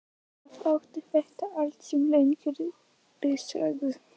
Auðvitað átti þetta allt sér lengri sögu.